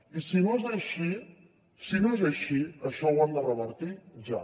i si no és així si no és així això ho han de revertir ja